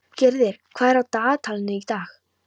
Gyrðir, hvað er í dagatalinu í dag?